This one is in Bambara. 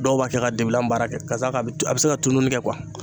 Dɔw b'a kɛ ka debilan baara kɛ ka d'a kan a bɛ se ka tununi kɛ